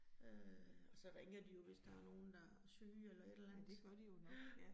Øh og så ringer de jo, hvis der nogen, der syge eller et eller andet. Ja